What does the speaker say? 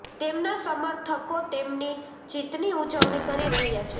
તેમના સમર્થકો તેમની જીતની ઉજવણી કરી રહ્યા છે